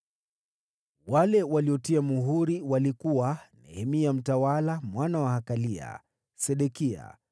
Wale waliotia muhuri walikuwa: Nehemia mtawala, mwana wa Hakalia. Sedekia,